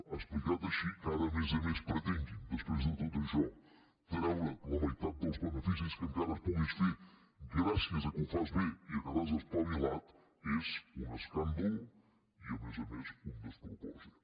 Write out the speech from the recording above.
explicat així que ara a més a més pretenguin després de tot això treure’t la meitat dels beneficis que encara puguis fer gràcies al fet que ho fas bé i que t’has espavilat és un escàndol i a més a més un despropòsit